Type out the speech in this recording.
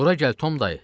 Bura gəl, Tom dayı!